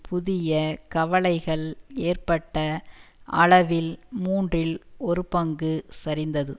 புதிய கவலைகள் ஏற்பட்ட அளவில் மூன்றில் ஒரு பங்கு சரிந்தது